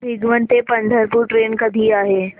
भिगवण ते पंढरपूर ट्रेन कधी आहे